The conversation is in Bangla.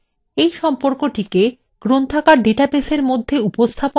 এই সম্পর্কটিকে গ্রন্থাগার ডাটাবেসের মধ্যে উপস্থাপন করতে